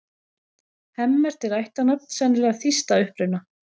Hemmert er ættarnafn, sennilega þýskt að uppruna.